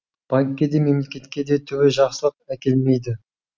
банкке де мемлекетке де түбі жақсылық әкелмейді